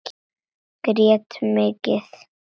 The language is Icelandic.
Grét mikið.